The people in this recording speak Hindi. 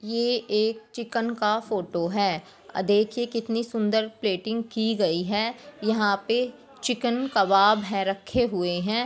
ये एक चिकन का फोटो है। अ देखिये कितनी सूंदर पलेटिंग की गयी है। यहां पे चिकन कबाब हैं रखे हुए हैं।